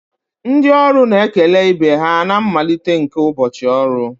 Ndị ọrụ na-ekele ibe ha na mmalite nke ụbọchị ọrụ